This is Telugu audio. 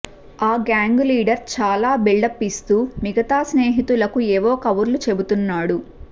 ఆ గ్యాంగు లీడర్ చాలా బిల్డప్ ఇస్తూ మిగతా స్నేహితులకు ఏవో కబుర్లు చెబుతున్నాడు